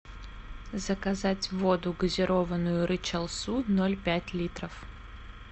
заказать воду газированную рычал су ноль пять литров